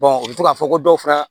u bɛ to k'a fɔ ko dɔw fana